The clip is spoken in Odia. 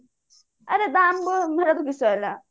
ଆରେ ଦାମ